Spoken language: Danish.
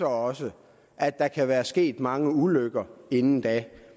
også at der kan være sket mange ulykker inden da